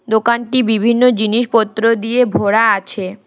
দোকানটি বিভিন্ন জিনিসপত্র দিয়ে ভরা আছে।